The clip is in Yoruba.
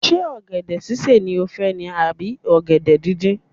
Ṣé ọ̀gẹ̀dẹ̀ sísè ni ó fẹ́ ni à bí ọ̀gẹ̀dẹ̀ díndín.